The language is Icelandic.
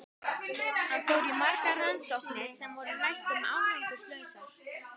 Hann fór í margar rannsóknir sem voru næstum árangurslausar.